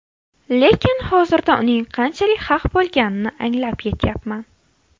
Lekin hozirda uning qanchalik haq bo‘lganini anglab yetyapman.